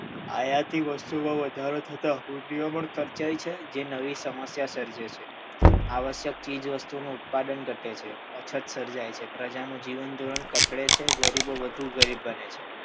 આયાતી વસ્તુઓમાં વધારો થતાં હૂંડૈયામણ ખર્ચાય છે જે નવી સમસ્યા સર્જે છે આવશ્યક ચીજવસ્તુઓનું ઉત્પાદન ઘટે છે અછત સર્જાય છે પ્રજાનું જીવનધોરણ કથળે છે ગરીબો વધુ ગરીબ બને છે